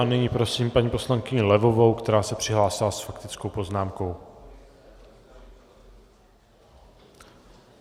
A nyní prosím paní poslankyni Levovou, která se přihlásila s faktickou poznámkou.